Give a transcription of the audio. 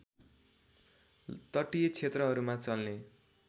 तटीय क्षेत्रहरूमा चल्ने